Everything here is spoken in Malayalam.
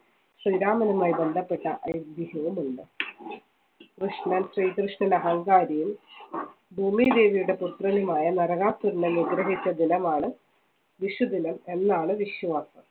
ശ്രീരാമനുമായി ബന്ധപ്പെട്ട ഐതിഹ്യവും ഉണ്ട് കൃഷ്ണൻ ശ്രീകൃഷ്ണൻ അഹങ്കാരിയെ ഭൂമിദേവിയുടെ പുത്രനുമായ നരകാസുരനെ ഹിച്ച ദിനമാണ് വിഷുദിനം എന്നാണ് വിശ്വാസം